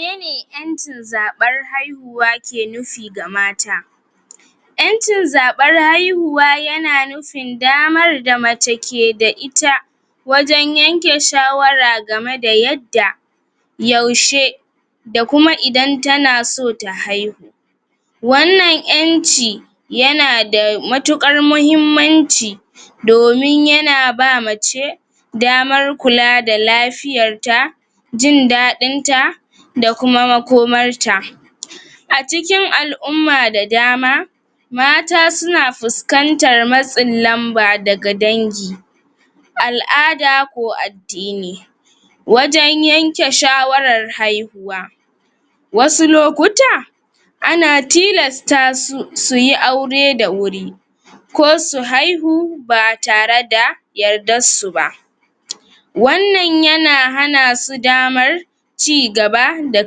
mene ƴancin zaɓar haihu wa ke nufi ga mata ƴancin zaɓar haihiwa yana nufin damar da mace keda ita wajen yanke shawara gameda yad da yaushe da kuma idan tana so ta haihu wanan ƴanci yana da mutukar muhimmanci domin yana ba mace damar kula da lafiyar ta jin daɗinta da kuma makomarta acikin al'umma da dama mata suna fuskantar matsin lamba daga dangi al'ada ko ad dini wajan yanke shawarar haihuwa wasu lokuta ana tilasta su suyi aure da wuri ko su haihu ba tareda yarda su ba wannan yana hanasu damar cigaba da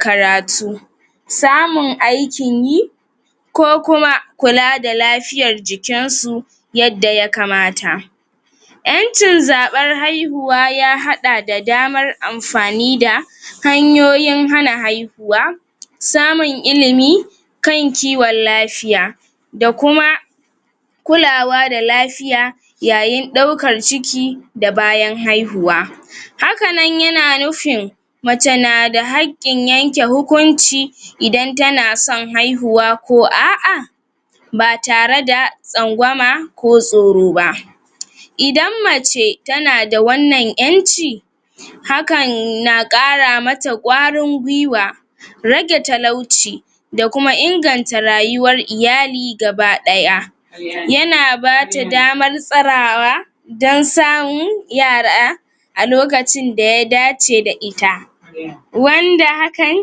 karatu samun aikin yi ko kuma kula da lafiyar jikinsu yadda ya kamata yancin zabar haihuwa ya haɗa da damar anfani da hanyoyin hana haihu wa samun ilimi kan kiwon lafiya da kuma kulawa da lafiya da bayan haihuwa hakanan yana nufin mace nada hakkin yanke hukunci idan tanason haihuwa ko a'a ba tareda tsangwama ko tsoroba idan mace tanada wanan ƴanci hakanna ƙara mata ƙwarin gwiwa rage talauci da kuma inganta rayuwar iyali gabaɗaya yana bata damar tsarawa dan samun yara a lokacin daya dace da ita wanda hakan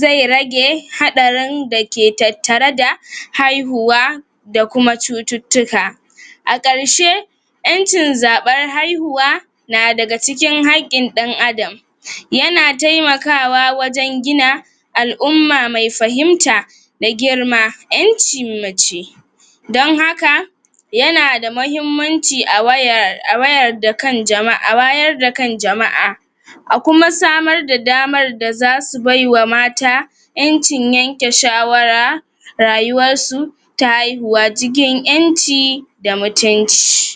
zai rage haɗarin dake tattare da haihuwa da kuma cututtuka a ƙarshe ƴancin zaɓar haihuwa na daga cikin hakkin ɗan adam yana taimakawa wajan gina al'umma mai fahimta na girma ƴancin mace don haka yanada mahimmanci a wayar awayar a wayar da kan jama'a[um] a wayar da kan jama'a a kuma samar da damar da zasu baiwa mata yanci yanke shawara rayuwar su ta haihuwa cikin ƴanci da mutunci